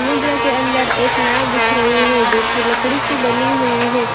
समुद्र के अंदर एक नाव दिख रही हैं जो की लकड़ी की बनी हुई है।